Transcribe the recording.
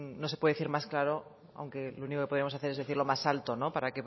no se puede decir más claro aunque lo único que podemos hacer es decirlo más alto para